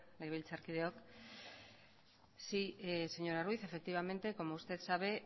legebiltzarkideok sí señora ruiz efectivamente como usted sabe